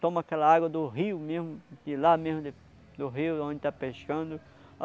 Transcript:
Toma aquela água do rio mesmo, de lá mesmo de do rio onde está pescando.